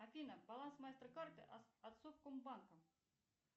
афина баланс мастер карты от совкомбанка